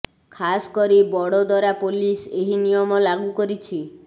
ଖାସ୍ କରି ବଡୋଦରା ପୋଲିସ୍ ଏହି ନିୟମ ଲାଗୁ କରିଛି